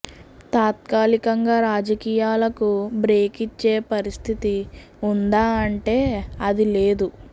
తాత్కాలికంగా రాజకీయాలకు బ్రేక్ ఇచ్చే పరిస్దితి ఉందా అంటే అదీ లేదు